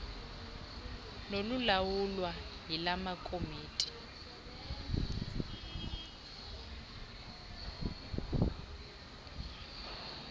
nolulawulwa yila komiti